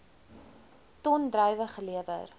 ton druiwe gelewer